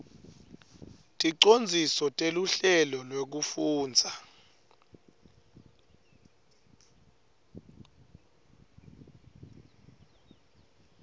ticondziso teluhlelo lwekufundza